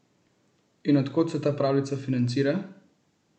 In od kod se ta pravljica financira?